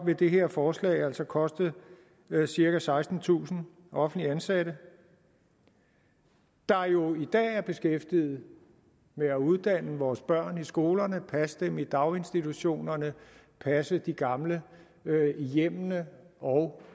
vil det her forslag altså koste cirka sekstentusind offentligt ansatte der jo i dag er beskæftiget med at uddanne vores børn i skolerne passe dem i daginstitutionerne passe de gamle i hjemmene og